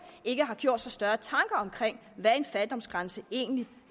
ikke har gjort sig større tanker om hvad en fattigdomsgrænse egentlig